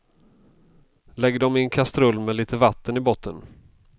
Lägg dem i en kastrull med lite vatten i botten.